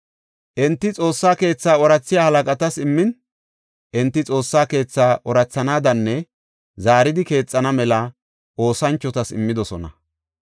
Enti Xoossa keethaa oorathiya halaqatas immin enti Xoossa keethaa oorathanaadanne zaaridi keexana mela oosanchotas immidosona.